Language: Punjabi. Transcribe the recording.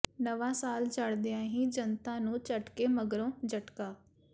ਨਵਾਂ ਸਾਲ ਚੜ੍ਹਦਿਆਂ ਹੀ ਜਨਤਾ ਨੂੰ ਝਟਕੇ ਮਗਰੋਂ ਝਟਕਾ